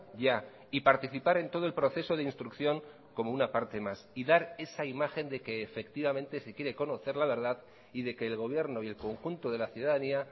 ya y participar en todo el proceso de instrucción como una parte más y dar esa imagen de que efectivamente si quiere conocer la verdad y de que el gobierno y el conjunto de la ciudadanía